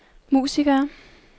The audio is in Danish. musikere